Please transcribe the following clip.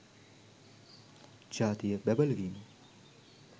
ජාතිය බැබළවීම